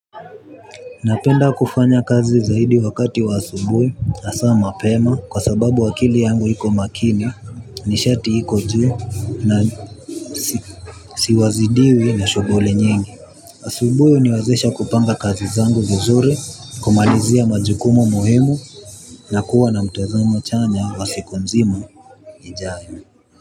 Napenda kufanya kazi zaidi wakati wa asubuyi asa mapema kwa sababu akili yangu hiko makini nishati hiko juu na sizidiwi na shoghuli nyingi asubuhi huniwazesha kupanga kazi zangu vizuri kumalizia majukumu muhimu. Na kuwa na mtazamo chanya wa siku mzima ijayo.